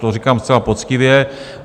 To říkám zcela poctivě.